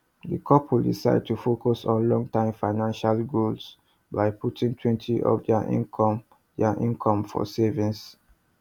di couple decide to focus on long term financial goals by putting twenty of dia income dia income for savings